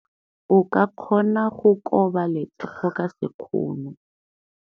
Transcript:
O ka kgona go koba letsogo ka sekgono.